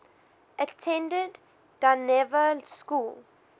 attended dynevor school